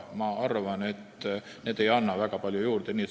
Ma arvan, et need ei anna väga palju juurde.